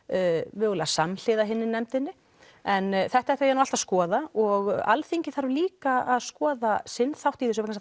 mögulega samhliða hinni nefndinni en þetta ætla ég nú allt að skoða og Alþingi þarf líka að skoða sinn þátt í þessu vegna